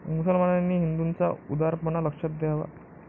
मुसलमानांनी हिंदूंचा उदारपणा लक्षात घ्यावा.